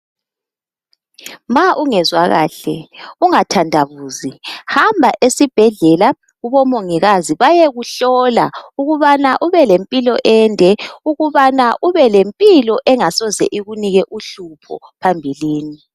Ma ungezwa kahle ungathandabuzi hamba esibhedlela kubomongikazi bayekuhlola ukubana ubele mpilo ende ukubana ubelempilo engasoze ikunike uhlupho phambilini